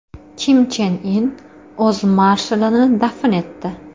Kim Chen In o‘z marshalini dafn etdi .